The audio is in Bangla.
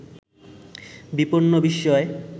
বিপন্ন বিস্ময়